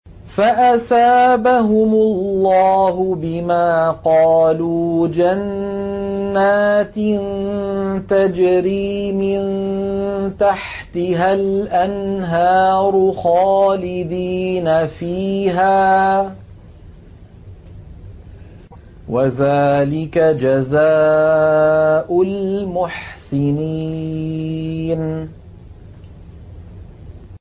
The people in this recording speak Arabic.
فَأَثَابَهُمُ اللَّهُ بِمَا قَالُوا جَنَّاتٍ تَجْرِي مِن تَحْتِهَا الْأَنْهَارُ خَالِدِينَ فِيهَا ۚ وَذَٰلِكَ جَزَاءُ الْمُحْسِنِينَ